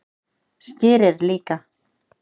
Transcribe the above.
Skyr er líka